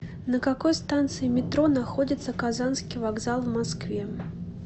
на какой станции метро находится казанский вокзал в москве